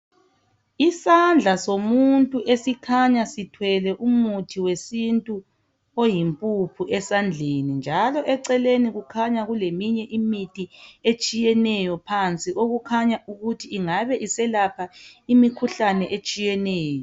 Iosandla somuntu esikhanya sithwele umuthi wesintu oyimpuphu esandleni njalo eceleni kukhanya kuleminye imithi etshiyeneyo phansi okukhanya ukuthi iyelapha imikhuhlane etshiyeneyo